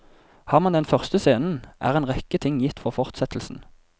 Har man den første scenen, er en rekke ting gitt for fortsettelsen.